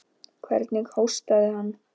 Hvernig hóstaði hann.